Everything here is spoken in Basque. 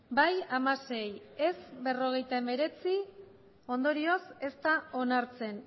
bai hamasei ez berrogeita hemeretzi ondorioz ez da onartzen